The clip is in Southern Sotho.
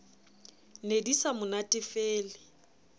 ne di sa mo natefele